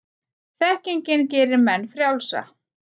Þekkingin gerir menn frjálsa.